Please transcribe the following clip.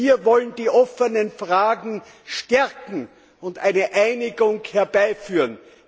Wir wollen die offenen Fragen klären und eine Einigung herbeiführen.